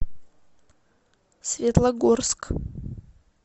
светлогорск